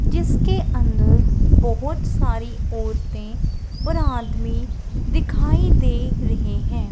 जिसके अंदर बोहोत सारी औरते और आदमी दिखाई दे रहें हैं।